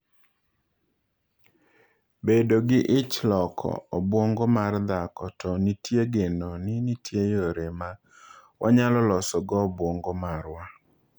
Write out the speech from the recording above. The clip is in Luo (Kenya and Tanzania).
Bedo gi ich loko obwongo mar dhako To nitie geno ni nitie yore ma wanyalo losogo obwongo marwa.